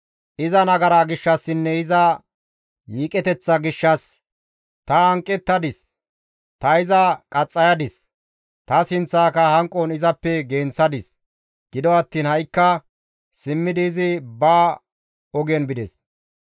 Iza nagara gishshassinne iza yiiqeteththa gishshas ta hanqettadis; ta iza qaxxayadis; ta sinththaaka hanqon izappe genththadis; gido attiin ha7ikka simmidi izi ba ogen bides.